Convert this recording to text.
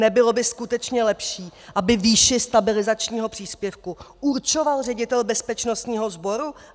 Nebylo by skutečně lepší, aby výši stabilizačního příspěvku určoval ředitel bezpečnostního sboru?